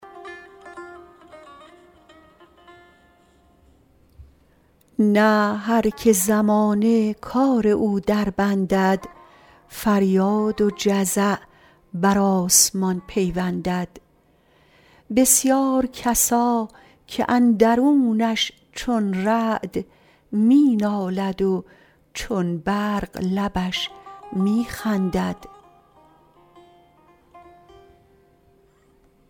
نه هر که زمانه کار او دربندد فریاد و جزع بر آسمان پیوندد بسیار کسا که اندرونش چون رعد می نالد و چون برق لبش می خندد